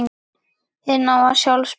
Hið nýja sjálf spyr